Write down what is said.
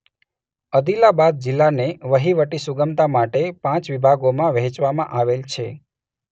અદિલાબાદ જિલ્લાને વહીવટી સુગમતા માટે પાંચ વિભાગોમાં વહેંચવામાં આવેલ છે.